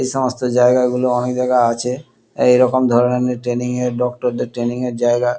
এসমস্ত জায়গা গুলো অনেক জায়গায় আছে এই রকম ধরণের ট্রেনিং এ ডাক্তার দের ট্রেনিং এর জায়গা।